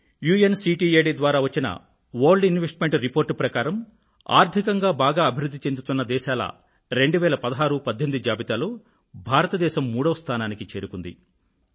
UNCTAD ద్వారా వచ్చిన world investment report ప్రకారం ఆర్థికంగా బాగా అభివృధ్ధి చెందుతున్న దేశాల 201618 జాబితాలో భారత దేశం 3వ స్థానానికి చేరుకుంది